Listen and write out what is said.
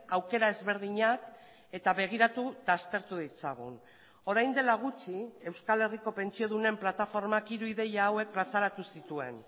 aukera ezberdinak eta begiratu eta aztertu ditzagun orain dela gutxi euskal herriko pentsiodunen plataformak hiru ideia hauek plazaratu zituen